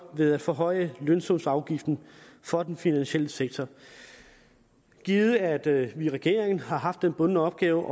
ved at forhøje lønsumsafgiften for den finansielle sektor givet at vi i regeringen har haft den bundne opgave